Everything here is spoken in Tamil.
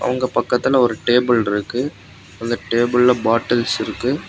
அவுங்க பக்கத்துல ஒரு டேபிள் இருக்கு. அந்த டேபிள்ல பாட்டில்ஸ் இருக்கு.